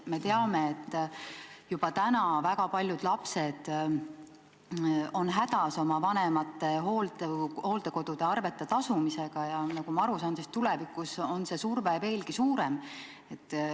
Me teame, et juba praegu on väga paljud lapsed hädas oma vanemate hooldekoduarvete tasumisega, ja nagu ma aru saan, tulevikus on see surve veelgi suurem.